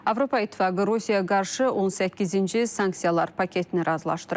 Avropa İttifaqı Rusiyaya qarşı 18-ci sanksiyalar paketini razılaşdırıb.